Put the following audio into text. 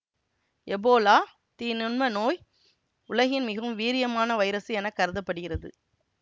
Ebola தீநுண்ம நோய் உலகின் மிகவும் வீரியமான வைரசு என கருத படுகிறது